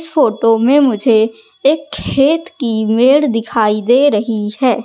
इस फोटो में मुझे एक खेत की मेड़ दिखाई दे रही हैं।